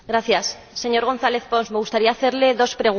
Señor González Pons, me gustaría hacerle dos preguntas.